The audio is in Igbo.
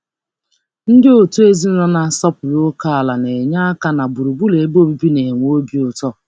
Ndị ezinụlọ na-asọpụrụ ókè na-enye aka n'ịmepụta ọnọdụ ebe obibi ụlọ obi ụtọ.